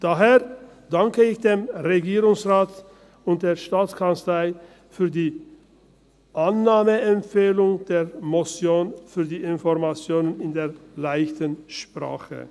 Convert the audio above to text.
Daher danke ich dem Regierungsrat und der Staatskanzlei für die Annahmeempfehlung der Motion für die Informationen in der «leichten Sprache».